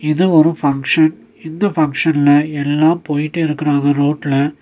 இது ஒரு ஃபங்ஷன் இந்த ஃபங்ஷன்ல எல்லா போயிட்டிருக்கறாங்க ரோட்ல .